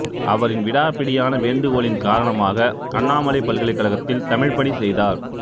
அவரின் விடாப்பிடியான வேண்டுகோளின் காரணமாக அண்ணாமலைப் பல்கலைக் கழகத்தில் தமிழ்ப்பணி செய்தார்